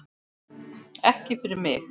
Ekki fyrir mig!